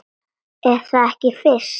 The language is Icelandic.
Er það ekki Fis?